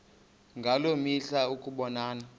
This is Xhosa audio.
ngaloo mihla ukubonana